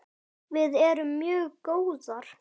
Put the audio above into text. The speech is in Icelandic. Við erum mjög góðar.